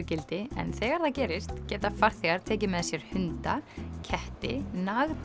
gildi en þegar það gerist geta farþegar tekið með sér hunda ketti